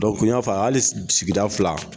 n y'a fɔ hali sigida fila